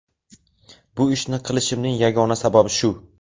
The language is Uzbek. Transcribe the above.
Bu ishni qilishimning yagona sababi shu.